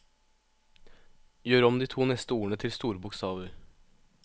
Gjør om de to neste ordene til store bokstaver